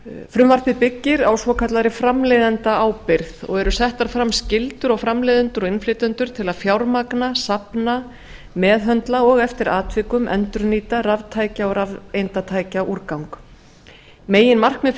frumvarpið byggir á svokallaðri framleiðendaábyrgð og eru settar fram skyldur á framleiðendur og innflytjendur til að fjármagna safna meðhöndla og eftir atvikum endurnýta raftækja og rafeindatækjaúrgang meginmarkmið